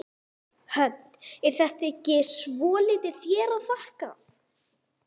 Hödd: Er það ekki svolítið þér að þakka?